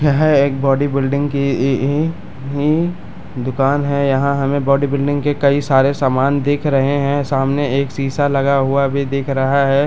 यह एक बॉडीबिल्डिंग की ई ई ही दुकान है यहाँ हमें बॉडीबिल्डिंग के कई सारे सामान दिख रहे है सामने एक शीशा लगा हुआ भी दिख रहा है।